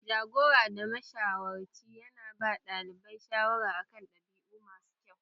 Jagora da mashawarci ya na ba ɗalibai shawara a kan ɗabi'u masu kyau